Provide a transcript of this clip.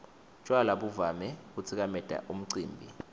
tjwala buvame kutsikameta umcimbi